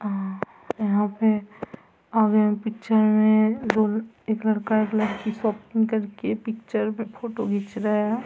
अ यहाँ पे और एक पिक्चर मे दो-एक लड़का एक लड़की शॉपिंग करके पिक्चर मे फ़ोटो घीच रहे है।